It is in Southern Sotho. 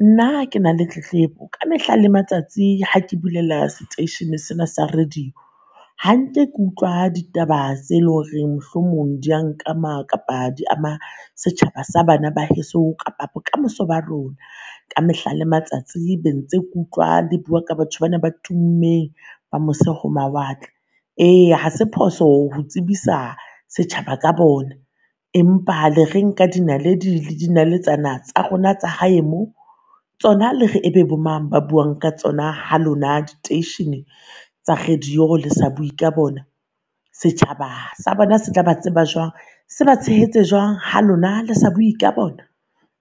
Nna ke na le tletlebo ka mehla le matsatsi ha ke bulela seteishene sena sa radio hanke ke utlwa ditaba tse lo reng mohlomong di a nkama kapa di ama setjhaba sa bana ba heso kapa bokamoso ba rona. Ka mehla le matsatsi be ntse ke utlwa le bua ka batho bana ba tummeng ba mose ho mawatle. Eya ha se phoso ho tsebisa setjhaba ka bona, empa le reng ka dinaledi le dinaletsana tsa rona tsa hae mo? Tsona le re e be bo mang ba buang ka tsona ha lona diteishene tsa radio le sa bue ka bona? Setjhaba sa bona se tla ba tseba jwang? Se ba tshehetse jwang ha lona le sa bue ka bona?